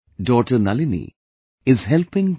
Daughter Nalini, is helping T